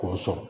K'o sɔrɔ